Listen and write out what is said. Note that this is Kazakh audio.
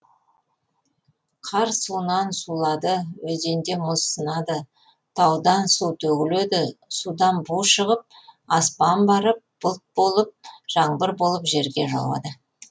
қар суынан сулады өзенде мұз сынады таудан су төгіледі судан бу шығып аспан барып бұлт болып жаңбыр болып жерге жауады